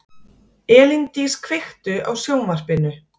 Elíndís, kveiktu á sjónvarpinu.